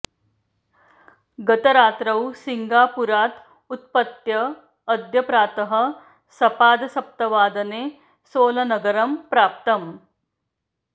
गत रात्रौ सिङ्गापुरात् उत्पत्य अद्य प्रातः सपादसप्तवादने सोलनगरं प्राप्तम्